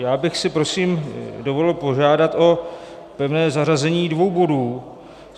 Já bych si prosím dovolil požádat o pevné zařazení dvou bodů.